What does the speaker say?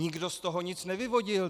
Nikdo z toho nic nevyvodil.